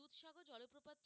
দুধসাগর জলপ্রপাত